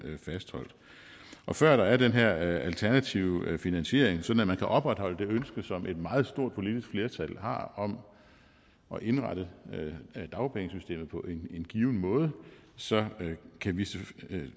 fastholdt og før der er den her alternative finansiering sådan at man kan opretholde det ønske som et meget stort politisk flertal har om at indrette dagpengesystemet på en given måde så kan vi